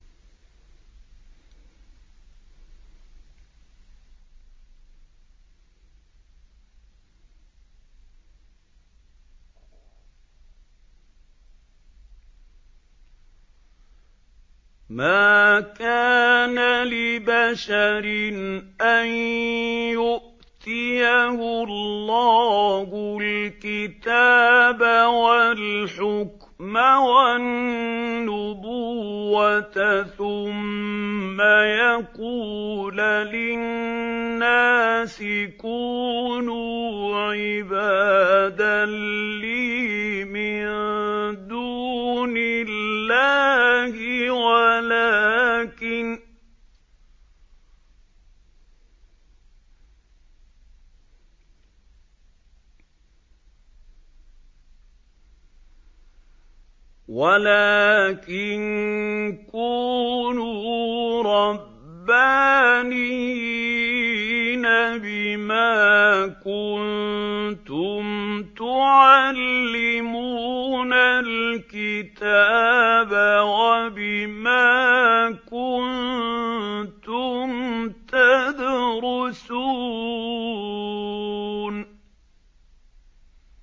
مَا كَانَ لِبَشَرٍ أَن يُؤْتِيَهُ اللَّهُ الْكِتَابَ وَالْحُكْمَ وَالنُّبُوَّةَ ثُمَّ يَقُولَ لِلنَّاسِ كُونُوا عِبَادًا لِّي مِن دُونِ اللَّهِ وَلَٰكِن كُونُوا رَبَّانِيِّينَ بِمَا كُنتُمْ تُعَلِّمُونَ الْكِتَابَ وَبِمَا كُنتُمْ تَدْرُسُونَ